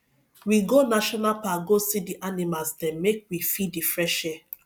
we go national park go see di animals dem make we feel di fresh air